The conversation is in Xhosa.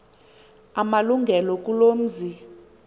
amalungelo kuloo mzi